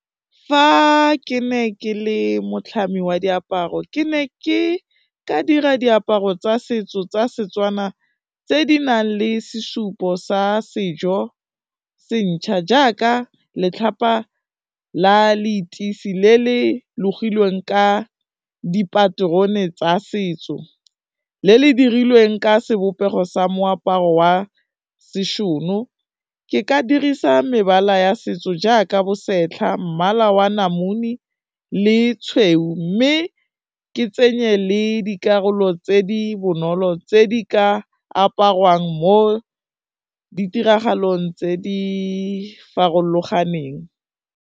Fa ke ne ke le motlhami wa diaparo ke ne ke ka dira diaparo tsa setso tsa Setswana, tse di nang le sesupo sa sejo se ntjha jaaka letlhapa la leteisi le le logilweng ka dipaterone tsa setso, le le dirilweng ka sebopego sa moaparo wa seshono, ke ka dirisa mebala ya setso jaaka bosetlha, mmala wa namune le tshweu, mme ke tsenye le dikarolo tse di bonolo tse di ka aparwang mo ditiragalong tse di farologaneng.